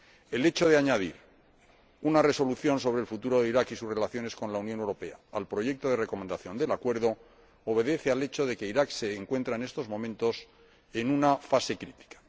El hecho de añadir una Resolución sobre el futuro de Irak y sus relaciones con la Unión Europea al proyecto de recomendación sobre el acuerdo obedece al hecho de que Irak se encuentra en estos momentos en una fase crítica.